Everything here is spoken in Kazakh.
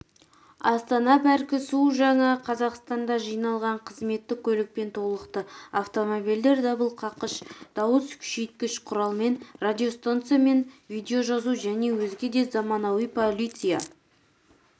астана паркі су жаңа қазақстанда жиналған қызметтік көлікпен толықты автомобильдер дабылқаққыш дауыс күшейткіш құралмен радиостанциямен видеожазу және өзге де заманауи полиция